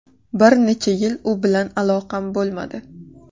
Bir necha yil u bilan aloqam bo‘lmadi.